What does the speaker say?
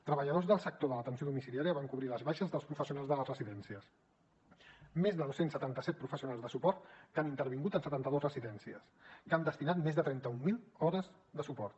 treballadors del sector de l’atenció domiciliària van cobrir les baixes dels professionals de les residències més de dos cents i setanta set professionals de suport que han intervingut en setanta dues residències que han destinat més de trenta mil hores de suport